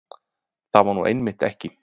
Það var nú einmitt ekki